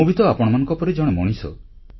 ମୁଁ ବି ତ ଆପଣମାନଙ୍କ ପରି ଜଣେ ମଣିଷ